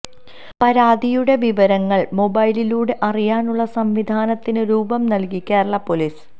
പരാതിയുടെ വിവരങ്ങള് മൊബൈലിലൂടെ അറിയാനുള്ള സംവിധാനത്തിന് രൂപം നൽകി കേരള പോലീസ്